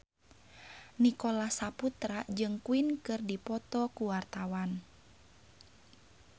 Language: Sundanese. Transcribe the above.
Nicholas Saputra jeung Queen keur dipoto ku wartawan